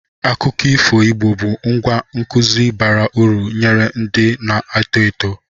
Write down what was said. Akụkọ ifo Igbo bụ ngwá nkụzi bara uru nyere ndị na-eto eto.